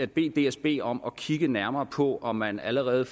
bede dsb om at kigge nærmere på om man allerede